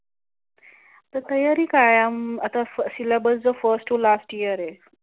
आता तयारी काय अं सीलेबस जो फर्स्ट टू लास्ट इयर आहे.